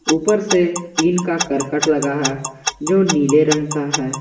उपर से टीन का करकट लगा है जो नीले रंग का है।